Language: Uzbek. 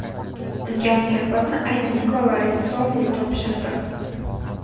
Unga mukofotni aynan Nikola Ritssoli topshirdi.